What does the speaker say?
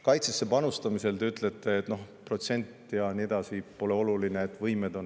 Kaitsesse panustamise kohta te ütlete, et protsent ja nii edasi pole oluline, vaid võimed on.